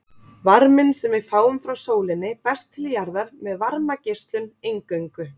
Varminn sem við fáum frá sólinni berst til jarðar með varmageislun eingöngu.